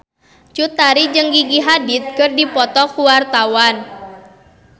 Cut Tari jeung Gigi Hadid keur dipoto ku wartawan